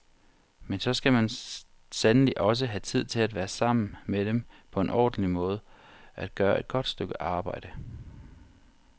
Men så skal man sandelig også have tid til at være sammen med dem på en ordentlig måde, at gøre et godt stykke arbejde.